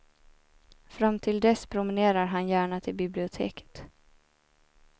Fram till dess promenerar han gärna till biblioteket.